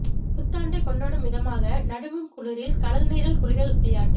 புத்தாண்டை கொண்டாடும் விதமாக நடுங்கும் குளிரில் கடல் நீரில் குளியல் விளையாட்டு